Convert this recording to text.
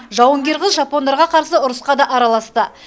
жауынгер қыз жапондарға қарсы ұрысқа да араласты